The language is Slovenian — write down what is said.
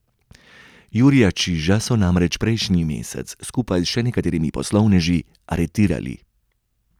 Jurija Čiža so namreč prejšnji mesec, skupaj s še nekaterimi poslovneži, aretirali.